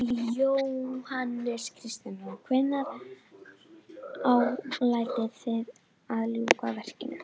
Búnaðarfélag Íslands sendi frá sér eindregin andmæli og jafnvel Prestafélag